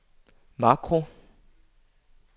makro